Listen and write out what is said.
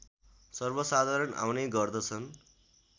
सर्वसाधारण आउने गर्दछन्